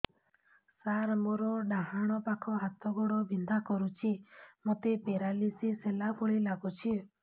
ସାର ମୋର ଡାହାଣ ପାଖ ହାତ ଗୋଡ଼ ବିନ୍ଧା କରୁଛି ମୋତେ ପେରାଲିଶିଶ ହେଲା ଭଳି ଲାଗୁଛି